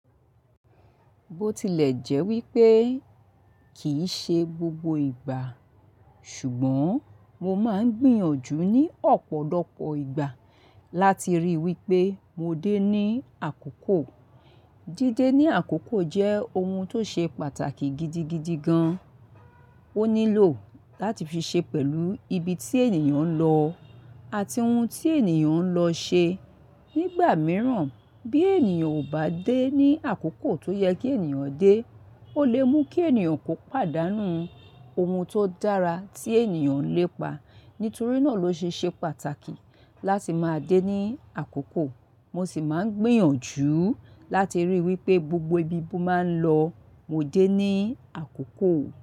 Bó tilẹ̀ jẹ́ wípé kìí ṣe gbogbo ìgbà, ṣùgbọ́n mo máa ń gbìyànjú ní ọ̀pọ̀lọpọ̀ ìgbà láti ríi wípé mo dé ní àkókò. Dídé ní àkókò jẹ́ ohun tó ṣe pàtàkì gidigidi gan. Ó nílò láti fi ṣe pẹ̀lú ibi tí ènìyàn ń lọ àti ohun tí ènìyàn ń lọ ṣe. Nígbà mìíràn bí ènìyàn ò bá dé ní àkókò tó yẹ kí ènìyàn dé, ó lè mú kí ènìyàn kò pàdánù ohun tó dára tí ènìyàn ń lépa. Nítorí náà ló ṣe ṣe pàtàkì láti máa dé ní àkókò. Mo sì máa ń gbìyànjú láti ríi wípé gbogbo ibi tí mo máa ń lọ, mo dé ní àkókò.